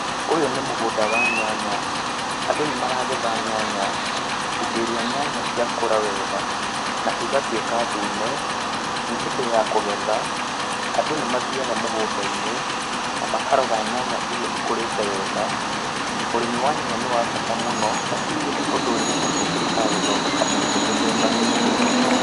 Ũyũ nĩ mũgũnda wa nyanya, andũ nĩmaragetha nyanya. Hĩndĩ ĩria nyanya ciakũra wega na igatuĩka ndune, nĩ hĩndĩ ya kũgetha, andũ nĩ mathiyaga mũgũnda-inĩ na makarora nyanya ĩria ĩkũrĩte wega. Ũrĩmi wa nyanya nĩ wa bata mũno nĩ ũndũ nyanya ĩtũmĩkaga gũthondeka irio mĩthemba mĩingĩ mũno.